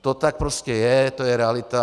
To tak prostě je, to je realita.